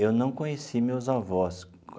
Eu não conheci meus avós.